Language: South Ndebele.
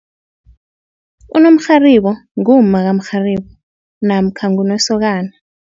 UNomrharibo ngumma kamrharibo namkha nguNosokana.